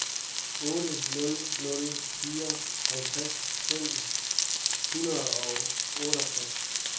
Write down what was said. otte nul nul fire halvtreds fem hundrede og otteogtres